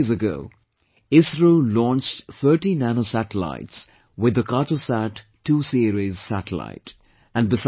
Just two days ago, ISRO launched 30 Nano satellites with the 'Cartosat2 Series Satellite